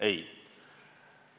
Ei!